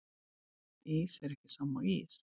Ís er ekki sama og ís